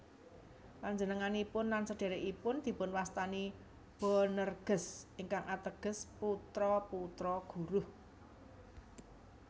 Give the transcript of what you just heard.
Panjenenganipun lan sedhèrèkipun dipunwastani Boanerges ingkang ateges putra putra guruh